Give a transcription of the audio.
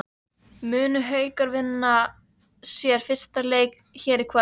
Munu Haukar vinna sinn fyrsta leik hér í kvöld?